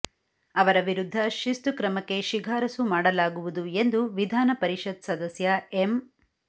ಅವರ ವಿರುದ್ಧ ಶಿಸ್ತು ಕ್ರಮಕ್ಕೆ ಶಿಫಾರಸು ಮಾಡಲಾಗುವುದು ಎಂದು ವಿಧಾನ ಪರಿಷತ್ ಸದಸ್ಯ ಎಂ